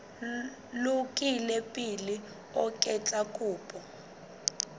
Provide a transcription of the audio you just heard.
lokile pele o etsa kopo